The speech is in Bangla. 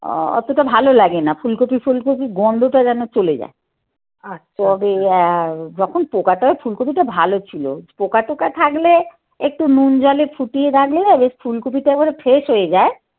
অতটা ভালো লাগে না ফুলকপি ফুলকপির গন্ধটা যেন চলে যায়. আর তবে আ যখন পোকাটাও ফুলকপিটা ভালো ছিল. পোকা টোকা থাকলে একটু নুন জলে ফুটিয়ে রাখলে ফুলকপিটা একেবারে fresh হয়ে যায়